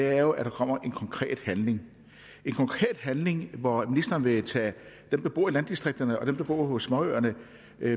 er jo at der kommer konkret handling konkret handling hvor ministeren vil tage dem der bor i landdistrikterne og dem der bor på småøerne